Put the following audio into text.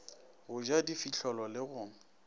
go ja difihlolo le go